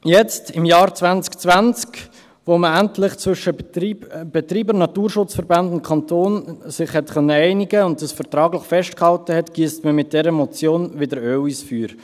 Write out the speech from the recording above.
Jetzt, im Jahr 2020, nachdem man sich zwischen Betreiber, Naturschutzverbänden und Kanton endlich einigen konnte und dies vertraglich festgehalten hat, giesst man mit dieser Motion wieder Öl ins Feuer.